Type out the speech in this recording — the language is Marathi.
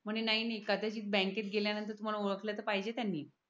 म्हणे नाही नाही कदाचित बँकेत गेल्यानंतर तुम्हाला ओळखलं पाहिजे त्यांनी